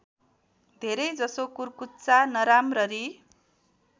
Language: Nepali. धेरैजसो कुर्कुच्चा नराम्ररी